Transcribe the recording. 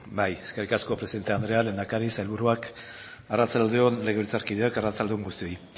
eskerrik asko presidente andrea lehendakari sailburuak arratsalde on legebiltzarkideok arratsalde on guztioi